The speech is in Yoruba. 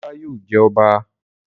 Demola yóò jé ọba